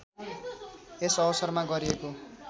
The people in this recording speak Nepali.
यस अवसरमा गरिएको